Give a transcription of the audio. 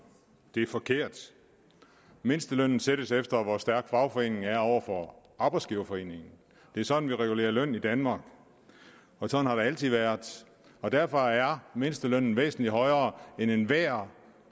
det er forkert mindstelønnen sættes efter hvor stærk fagforeningen er over for arbejdsgiverforeningen det er sådan vi regulerer løn i danmark og sådan har det altid været derfor er mindstelønnen væsentlig højere end enhver